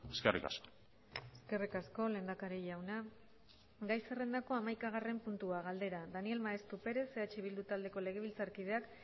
eskerrik asko eskerrik asko lehendakari jauna gai zerrendako hamaikagarren puntua galdera daniel maeztu perez eh bildu taldeko legebiltzarkideak